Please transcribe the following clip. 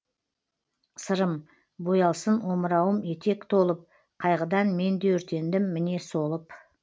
сырым боялсын омырауым етек толып қайғыдан мен де өртендім міне солып